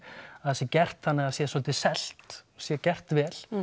að það sé gert þannig að það sé svolítið selt sé gert vel